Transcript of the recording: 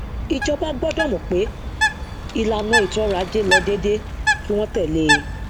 ìjọba gbọdọ mọ pé ìlànà ètòọrọajé lọ déédé kí wọn tẹlé e